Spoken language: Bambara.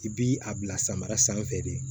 I bi a bila samara sanfɛ de